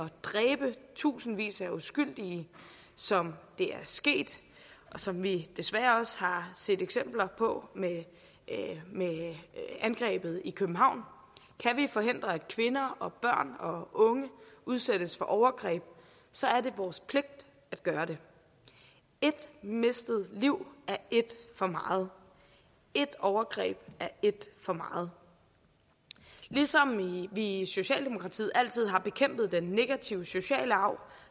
at dræbe tusindvis af uskyldige som det er sket og som vi desværre også har set eksempler på med angrebet i københavn kan vi forhindre at kvinder og børn og unge udsættes for overgreb så er det vores pligt at gøre det et mistet liv er et for meget et overgreb er et for meget ligesom vi i socialdemokratiet altid har bekæmpet den negative sociale arv